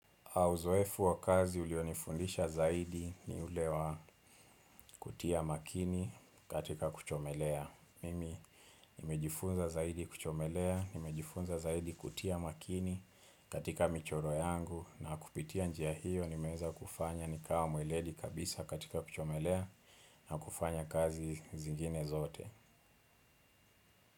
Uzoefu wa kazi ulionifundisha zaidi ni ule wa kutia makini katika kuchomelea. Mimi nimejifunza zaidi kuchomelea, nimejifunza zaidi kutia makini katika michoro yangu na kupitia njia hiyo ni meweza kufanya nikawa mweledi kabisa katika kuchomelea na kufanya kazi zingine zote.